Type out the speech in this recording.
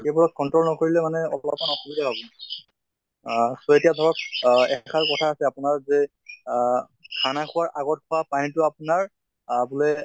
সেইবোৰক control নকৰিলে মানে আসুবিধা আহ so এতিয়া ধৰক আহ এষাৰ কথা আছে আপোনাৰ যে আহ খানা খোৱাৰ আগত খোৱা পানী টো আপোনাৰ আহ বুলে